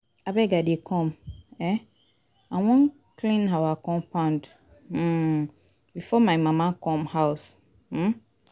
Abeg I dey come, um I wan clean our compound um before my mama come house. um